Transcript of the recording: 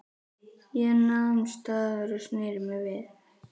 Ég nam staðar og sneri mér við.